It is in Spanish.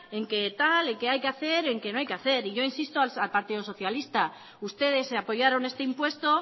en que tal en que hay que hacer en que no hay que hacer y yo insisto al partido socialista ustedes apoyaron este impuesto